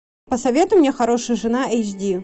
посоветуй мне хорошая жена эйч ди